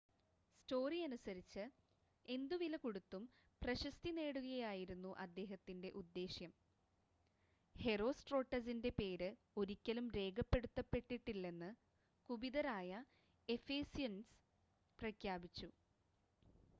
story അനുസരിച്ച് എന്തുവിലകൊടുത്തും പ്രശസ്തി നേടുകയായിരുന്നു അദ്ദേഹത്തിൻ്റെ ഉദ്ദേശ്യം ഹെറോസ്ട്രോട്ടസിൻ്റെ പേര് ഒരിക്കലും രേഖപ്പെടുത്തപ്പെട്ടിട്ടില്ലെന്ന് കുപിതരായ എഫേസ്യൻസ് പ്രഖ്യാപിച്ചു